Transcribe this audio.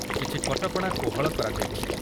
କିଛି କଟକଣା କୋହଳ କରାଯାଇଛି